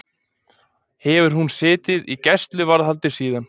Hefur hún setið í gæsluvarðhaldi síðan